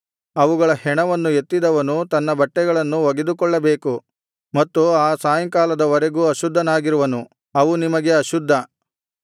ಅವುಗಳ ಹೆಣವನ್ನು ಎತ್ತಿದವನು ತನ್ನ ಬಟ್ಟೆಗಳನ್ನು ಒಗೆದುಕೊಳ್ಳಬೇಕು ಮತ್ತು ಆ ಸಾಯಂಕಾಲದ ವರೆಗೂ ಅಶುದ್ಧನಾಗಿರುವನು ಅವು ನಿಮಗೆ ಅಶುದ್ಧ